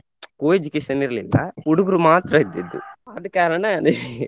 Co-education ಇರ್ಲಿಲ್ಲ ಹುಡುಗ್ರು ಮಾತ್ರ ಇದ್ದಿದ್ದು ಆದ ಕಾರಣ .